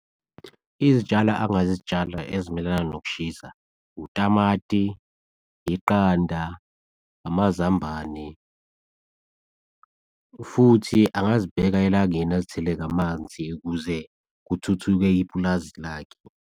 Izitshalo angazitshala ezimelana nokushisa, utamati, yiqanda, amazambane futhi angazibheka elangeni azithele ngamanzi ukuze kuthuthuke ipulazi lakhe.